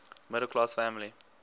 middle class family